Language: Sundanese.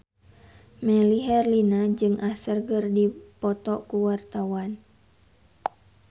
Melly Herlina jeung Usher keur dipoto ku wartawan